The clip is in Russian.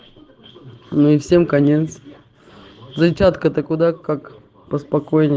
ну и всем конец зарядка то куда как